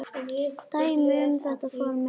Dæmi um þetta form eru